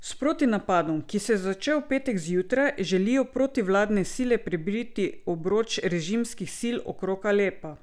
S protinapadom, ki se je začel v petek zjutraj, želijo protivladne sile prebiti obroč režimskih sil okrog Alepa.